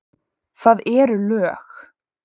Það eru lög.